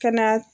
Ka na